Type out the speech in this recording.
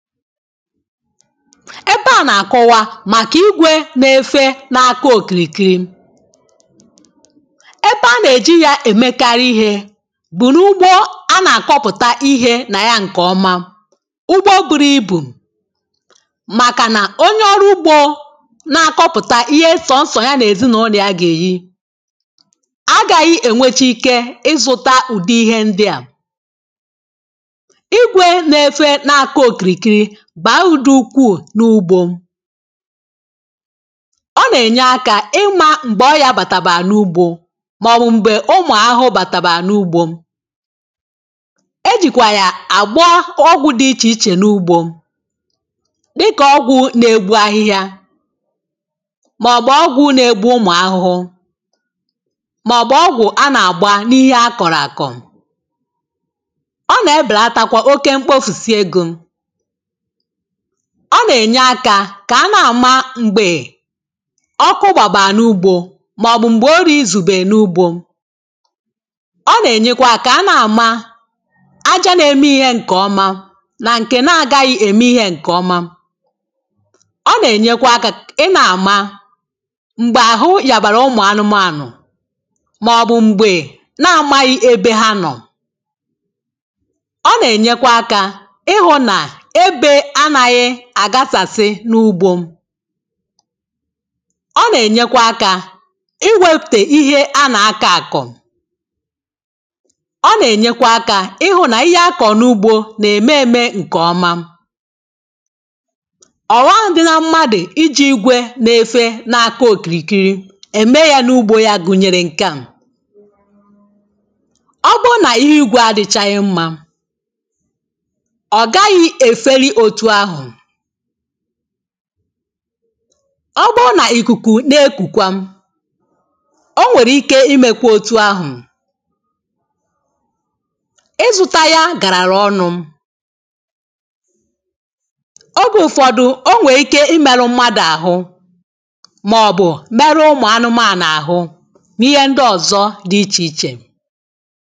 Ebe à nà-àkọwa màkà ìgwè na-efe na-àkọ òkìrìkiri, ebe a nà-èji yȧ èmekarị ihė bù n’ugbȯ a nà-àkọpụ̀ta ihė nà ya ǹkè ọma, ugbo bụrụ ibù, màkà nà onye ọrụ ugbȯ na-akọpụ̀ta ihe sọ̀sọ̀ ya nà-èzinụ̇lọ̀ ya gà-èri, agàghị̇ ènwechì ike ịzụ̇ta ùde ihe ndịà, ìgwè na efe na-àko okìrìkiri bà udù ukwuù n’ugbȯ, ọ nà-ènye akȧ ịmȧ m̀gbè ọrịȧ bàtàbà n’ugbȯ màọ̀bụ̀ m̀gbè ụmụ̀ ahụhụ bàtàbà n’ugbȯ, ejìkwà yà àgbọ ọgwụ̇ dị ichè ichè n’ugbȯ, dikà ọgwụ̇ na-egbu ahịhịa, màọ̀bụ̀ ọgwụ̀ na-egbu ụmụ̀ ahụhụ, màọ̀bụ̀ ọgwụ̀ a nà-àgba n’ihe akọ̀rọ̀ akọ̀, ọ nà-ebèlatakwa oke mkpọfùsị egȯ, ọ nà-ènye akȧ kà a na-àma m̀gbè ọkụ gbàbà n’ugbȯ màọ̀bụ̀ m̀gbè ọri izùbè n’ugbȯ, ọ nà-ènyekwa akà a na-àma aja na-eme ihe ǹkè ọma, nà ǹkè na-agaghị ème ihe ǹkè ọma, ọ nà-ènyekwa akȧ ị na-àma m̀gbè àhụ yàbàrà ụmụ̀ anụmụànụ̀, màọ̀bụ̀ m̀gbè na-amaghị ebe ha nọ̀, ọ nà-ènyekwa akȧ ịhụ̇ nà ébé anaghi àgasàsị n’ugbȯ, ọ na-enyekwa aka iwepute ihe a na-ako akọ̀, ọ na-enyekwa aka ịhụ̀ na ihe akọ̀ n’ugbo na-eme eme nke ọma, ọ̀ waghị dị na mmadụ̀ iji̇ igwe na-efe na-àko okìrìkiri ème ya n’ugbȯ ya gụ̀nyèrè ǹkè a, ọ bụnà ihe igwe adịchaghị mmȧ, ọ gaghị efeli otụ ahụ, ọ bụ nà ìkùkù nà-ekùkwa o nwèrè ike imėkwė otu ahụ̀, ịzụ̇tȧya gàràrà ọnụ̇, ogė ụ̀fọdụ o nwèrè ike imėru mmadụ̀ àhụ màọ̀bụ̀ meruo ụmụ anụmanụ àhụ n’ihe ndị ọ̀zọ dị ichè ichè.